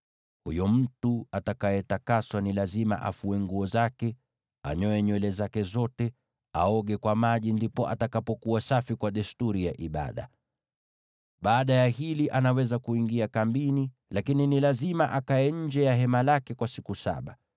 “Huyo mtu atakayetakaswa ni lazima afue nguo zake, anyoe nywele zake zote, na aoge kwa maji; ndipo atakapokuwa safi kwa desturi ya ibada. Baada ya hili anaweza kuingia kambini, lakini ni lazima akae nje ya hema lake kwa siku saba.